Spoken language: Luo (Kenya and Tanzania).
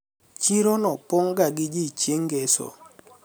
chiro no pong'ga gi ji chieng' ngeso